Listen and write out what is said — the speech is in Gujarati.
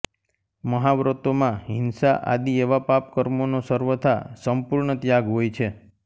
મહાવ્રતો માં હિંસા આદિ એવા પાપ કર્મોનો સર્વથા સંપૂર્ણ ત્યાગ હોય છે